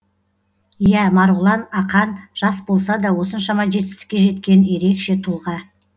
иә марғұлан ақан жас болса да осыншама жетістікке жеткен ерекше тұлға